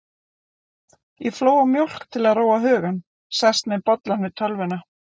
Ég flóa mjólk til að róa hugann, sest með bollann við tölvuna.